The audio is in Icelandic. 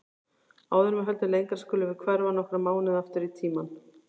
Áður en við höldum lengra skulum við hverfa nokkra mánuði aftur í tímann.